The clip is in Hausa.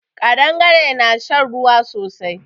Ƙadangare na shan ruwa sosai